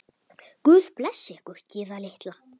Guð blessi ykkur, Gyða litla.